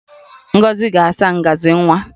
Ngozi ga-asa ngaji nwa